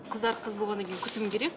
қыздар қыз болғаннан кейін күтім керек